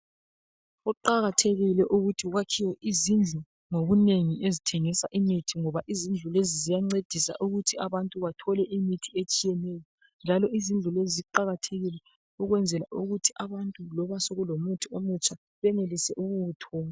Kuqakathekile ukuthi kwakhiwe izindlu ngobunengi ezithengisa imithi ngoba izindlu lezi ziyancedisa ukuthi abantu bathole imithi etshiyeneyo, njalo izindlu lezi ziqakathekile ukwenzela ukuthi abantu loba sekulomuthi omutsha benelise ukuwuthola.